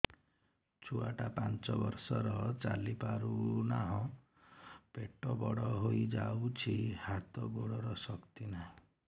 ଛୁଆଟା ପାଞ୍ଚ ବର୍ଷର ଚାଲି ପାରୁନାହଁ ପେଟ ବଡ ହୋଇ ଯାଉଛି ହାତ ଗୋଡ଼ର ଶକ୍ତି ନାହିଁ